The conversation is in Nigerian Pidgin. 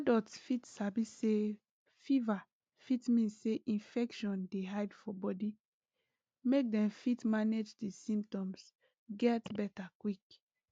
adults fit sabi say fever fit mean say infection dey hide for body make dem fit manage di symptoms get beta quick